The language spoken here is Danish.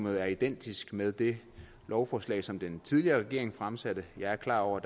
er identisk med det lovforslag som den tidligere regering fremsatte jeg er klar over